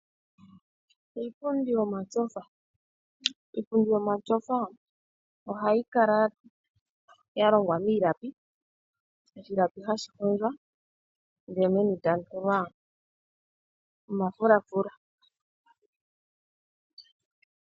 Iipundi yomatsofa ohayi kala ya longwa miilapi oshilapi hashi hondjwa ndele meni tamu tulwa omafulafula.